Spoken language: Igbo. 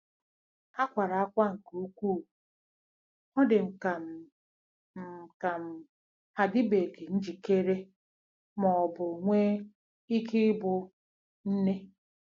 Akwara akwaa nke ukwu; Ọ dị m ka m̀ m ka m̀ adịbeghị njikere ma ọ bụ nwee ike ịbụ nne.